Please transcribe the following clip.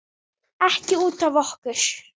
Ekki út af okkur.